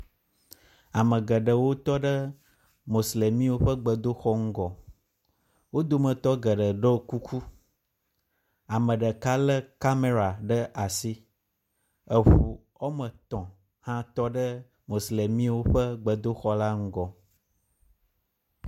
Ame geɖewo tɔ ɖe Moslemiwo ƒe gbedoxɔ ŋgɔ. Wo dometɔ geɖe ɖo kuku, ame ɖeka lé kamera ɖe asi. Eŋu eme tɔ̃ hã tɔ ɖe Moslemiwo ƒe gbedoxɔ la ŋgɔ.